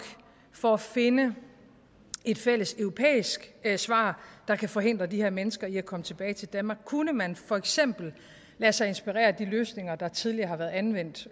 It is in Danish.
for at finde et fælles europæisk svar der kan forhindre de her mennesker i at komme tilbage til danmark kunne man for eksempel lade sig inspirere af de løsninger der tidligere har været anvendt